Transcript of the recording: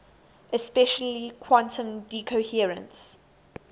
especially quantum decoherence